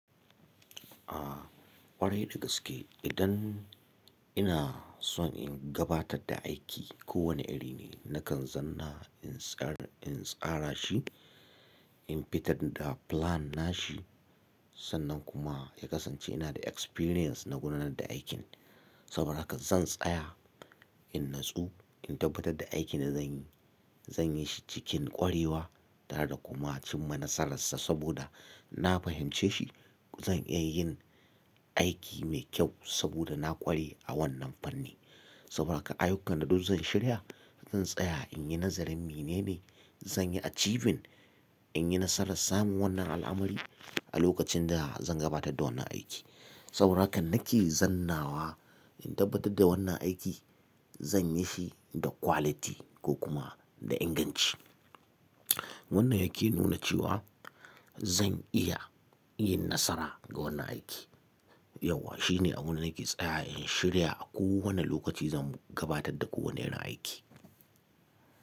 A ƙwarai da gaske idan ina so in gabatar da aiki ko wane iri ne, nakan zanna in tsara shi, in fitar da plan nashi sannan kuma ya kasance ina da experience na gudanar da aikin. Saboda haka zan tsaya in natsu in tabbatar da aikin da zanyi, zan yi shi cikin ƙwarewa tare da kuma cimma nasararsa saboda na fahimci shi. Zan iya yin aiki mai kyau saboda na ƙware a wannan fanni. Saboda haka ayyukan da duk zan shirya zan tsaya in yi nazarin menene zan yi achieving in yi nasarar samun wannan al'amari a lokacin da zan gabatar da wannan aiki. Saboda haka nake zannawa in tabbatar da wannan aiki zan yi shi da quality ko kuma da inganci. Wannan yake nuna cewa zan iya yin nasara ga wannan aiki. Yauwa shine abin da nake tsaya in shirya a kowane lokaci zan gabatar da kowane irin aiki.